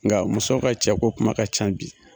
Nga muso ka cɛko kuma ka ca bi